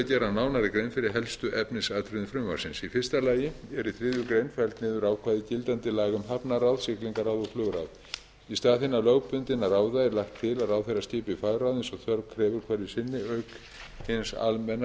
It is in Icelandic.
gera nánari grein fyrir helstu efnisatriðum frumvarpsins í fyrsta lagi er í þriðju grein felld niður ákvæði gildandi laga um hafnaráð siglingaráð og flugráð í stað hinna lögbundinna ráða er lagt til að ráðherra skipi fagráð eins og þörf krefur hverju sinni auk hins almenna samráðs